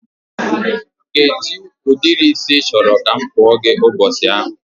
Kedụ ụdịrị isi ị chọrọ ka m kpaa gị ụbọchị ahụ?